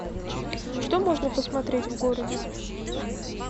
что можно посмотреть в городе